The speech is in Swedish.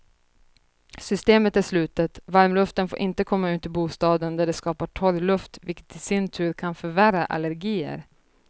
Systemet är slutet, varmluften får inte komma ut i bostaden där det skapar torr luft vilket i sin tur kan förvärra allergier.